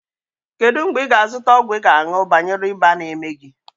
Kedụ mgbe ị ga a zụta ọgwụ ị ga aṅụ banyere ịba n'eme gị?